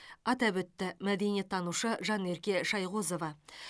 атап өтті мәдениеттанушы жанерке шайғозова